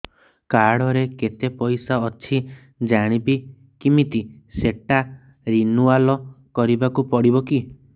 card ରେ କେତେ ପଇସା ଅଛି ଜାଣିବି କିମିତି ସେଟା ରିନୁଆଲ କରିବାକୁ ପଡ଼ିବ କି